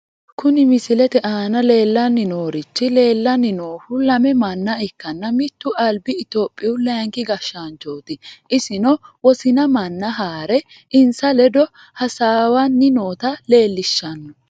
Kuni misilete aana leellanni noorichi leellanni noohu lame manna ikkanna, mittu albi topiyu layiinki gashshaanchooti. isino wosina manna haare insa ledo hasaawanni noota leellishshanno.